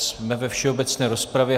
Jsme ve všeobecné rozpravě.